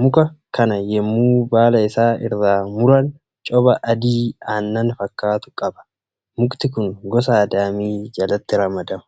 Muka kana yemmuu baala isaa irraa muraan coba adii aannan fakkaatu qaba . Mukti kun gosa adaamii jalatti ramadama..